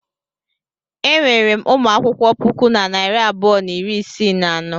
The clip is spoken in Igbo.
Enwere m ụmụ akwụkwọ puku na narị abụọ na iri isii na anọ.